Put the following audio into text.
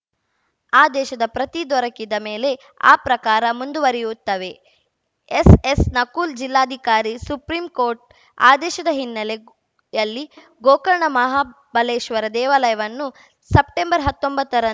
ಆದೇಶದ ಪ್ರತಿ ದೊರಕಿದ ಮೇಲೆ ಆ ಪ್ರಕಾರ ಮುಂದುವರಿಯುತ್ತವೆ ಎಸ್‌ಎಸ್‌ ನಕುಲ್‌ ಜಿಲ್ಲಾಧಿಕಾರಿ ಸುಪ್ರೀಂ ಕೋರ್ಟ್‌ ಆದೇಶದ ಹಿನ್ನೆಲೆಯಲ್ಲಿ ಗೋಕರ್ಣ ಮಹಾಬಲೇಶ್ವರ ದೇವಾಲಯವನ್ನು ಸೆಪ್ಟೆಂಬರ್ ಹತ್ತೊಂಬತ್ತರ